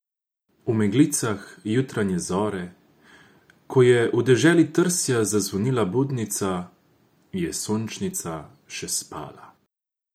V meglicah jutranje zore, ko je v deželi trsja zazvonila budnica, je Sončnica še spala.